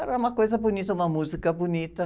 Era uma coisa bonita, uma música bonita.